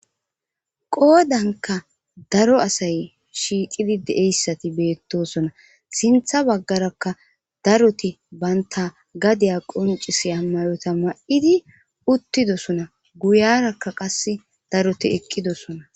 Qoodanka daro asay shiiqidi deeyssati beettosona sintha baggarakka daroti baynta gadiya qoncisi hammayota ma7idi uttidosona guyarakka qasse daroti eqqidosona